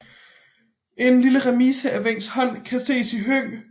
En lille remise af Wencks hånd kan ses i Høng